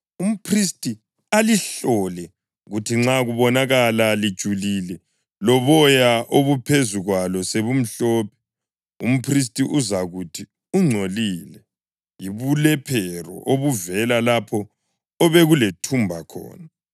Umphristi alihlole, kuthi nxa kubonakala lijulile loboya obuphezu kwalo sebumhlophe, umphristi uzakuthi ungcolile. Yibulephero obuvela lapho obekulethumba khona.